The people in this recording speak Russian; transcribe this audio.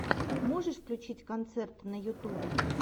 можешь включить концерты на ютюбе